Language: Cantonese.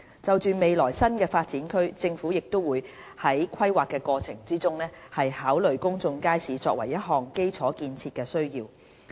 就未來的新發展區，政府會在規劃過程中，考慮公眾街市作為一項基礎建設的需要。